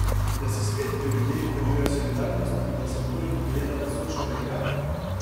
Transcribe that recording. Da se spet v ljudeh prebuja solidarnost in da se bolj gleda na sočloveka?